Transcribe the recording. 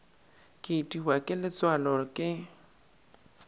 ke itiwa ke letswalo ke